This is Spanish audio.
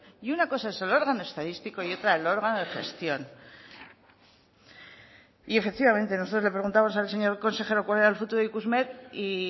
y una cosa es el órgano estadístico y otra el órgano de gestión y efectivamente nosotros le preguntamos al señor consejero cuál era el futuro de ikusmer y